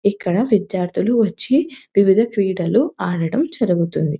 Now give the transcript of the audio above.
ఇక్కడ విద్యార్థులు వచ్చి వివిధ క్రీడలు ఆడటం జరుగుతుంది.